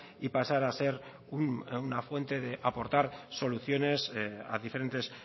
y pasar a ser una fuente de aportar soluciones a diferentes